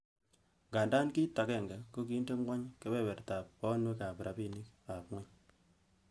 Ngandan kit agenge, ko kinde ngwony kebeberta bonwek ak rabinik ab mwanik.